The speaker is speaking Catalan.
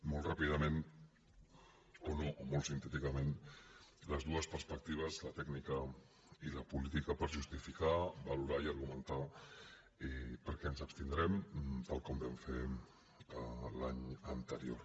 molt ràpidament o no o molt sintèticament les dues perspectives la tècnica i la política per justificar valorar i argumentar per què ens abstindrem tal com vam fer l’any anterior